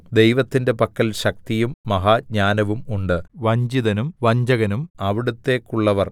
ദൈവത്തിന്റെ പക്കൽ ശക്തിയും മഹാജ്ഞാനവും ഉണ്ട് വഞ്ചിതനും വഞ്ചകനും അവിടുത്തേക്കുള്ളവർ